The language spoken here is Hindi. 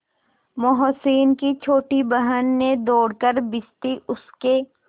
मोहसिन की छोटी बहन ने दौड़कर भिश्ती उसके